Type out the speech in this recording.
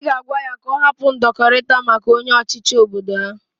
I ga agwa ya ka o hapu ndokorita maka onye ochichi obodo ha.